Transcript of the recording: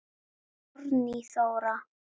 Árný Þóra.